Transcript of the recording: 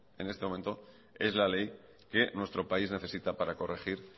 en este momento es la ley que nuestro país necesita para corregir